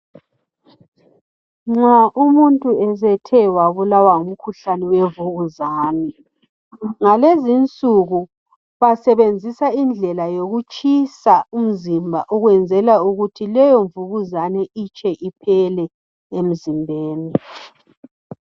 Nxa umuntu esethe wabulawa, ngumkhuhlane wemvukuzane ngalezinsuku basebenzisa indlela yokutshisa umzimba ukuze leyo mvukuzane itshe iphele emzimbeni.